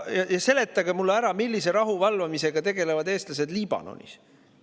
Seletage mulle ära, millise rahu valvamisega tegelevad eestlased Liibanonis.